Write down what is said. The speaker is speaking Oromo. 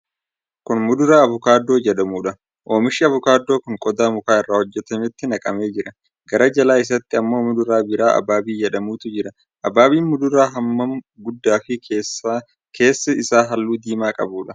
Kun muduraa avokaadoo jedhamuudha. Oomishi avokaadoo kun qodaa muka irraa hojjatametti naqamee jira. Gara jalaa isaatti ammoo muduraa biraa abaabii jedhamutu jira. Abaabiin muduraa hammaan guddaa fi keessi isaa halluu diimaa qabudha.